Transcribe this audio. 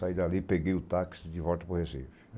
Saí dali, peguei o táxi de volta para o Recife.